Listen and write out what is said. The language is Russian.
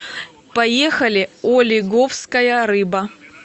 поехали олиговская рыба